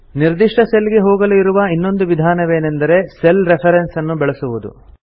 ನಿರ್ದಿಷ್ಟ ಸೆಲ್ ಗೆ ಹೋಗಲು ಇರುವ ಇನ್ನೊಂದು ವಿಧಾನವೇನೆಂದರೆ ಸೆಲ್ ರೆಫರೆನ್ಸ್ ಅನ್ನು ಬಳಸುವುದು